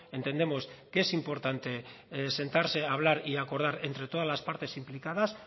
entendemos que es importante sentarse a hablar y acordar entre todas las partes implicadas